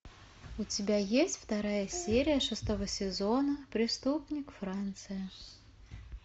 у тебя есть вторая серия шестого сезона преступник франция